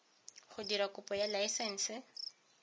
go dira kopo ya laesense